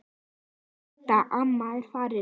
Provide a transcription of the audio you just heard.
Elsku Hadda amma er farin.